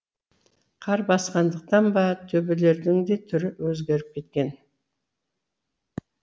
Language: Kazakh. қар басқандықтан ба төбелердің де түрі өзгеріп кеткен